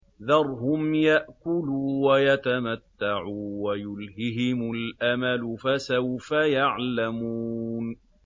ذَرْهُمْ يَأْكُلُوا وَيَتَمَتَّعُوا وَيُلْهِهِمُ الْأَمَلُ ۖ فَسَوْفَ يَعْلَمُونَ